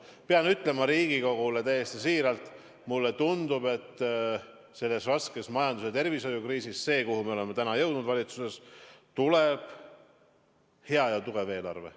Pean ütlema Riigikogule täiesti siiralt, et mulle tundub, et oleme selles raskes majandus- ja tervishoiukriisis jõudnud täna valitsuses selleni, et tuleb hea ja tugev eelarve.